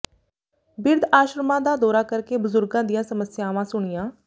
ਬਿਰਧ ਆਸ਼ਰਮਾਂ ਦਾ ਦੌਰਾ ਕਰ ਕੇ ਬਜ਼ੁਰਗਾਂ ਦੀਆਂ ਸਮੱਸਿਆਵਾਂ ਸੁਣੀਆਂ